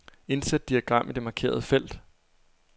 Indsæt diagram i det markerede felt.